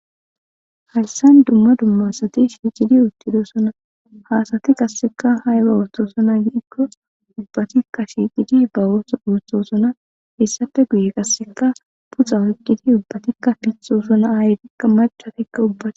Haysa dumma dumma asati shiqidi uttidosona. Ha asati qaseka ayba othizona gikko ubbati shiqidi oso othosona hesappe guye peyxa oykidi pittosona ubbatika ayetika mac'atika ubbatika